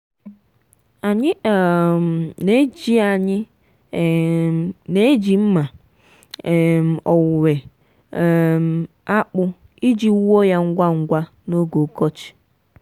anyị um na-eji anyị um na-eji mma um owuwe um akpu iji wuo ya ngwa ngwa n'oge ọkọchị.